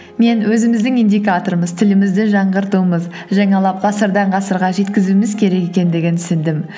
мен өзіміздің индикаторымыз тілімізді жаңғыртуымыз жаңалап ғасырдан ғасырға жеткізуіміз керек екендігін түсіндім